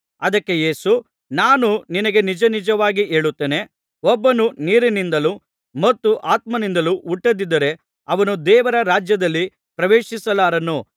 ಅದಕ್ಕೆ ಯೇಸು ನಾನು ನಿನಗೆ ನಿಜನಿಜವಾಗಿ ಹೇಳುತ್ತೇನೆ ಒಬ್ಬನು ನೀರಿನಿಂದಲೂ ಮತ್ತು ಆತ್ಮನಿಂದಲೂ ಹುಟ್ಟದಿದ್ದರೆ ಅವನು ದೇವರ ರಾಜ್ಯದಲ್ಲಿ ಪ್ರವೇಶಿಸಲಾರನು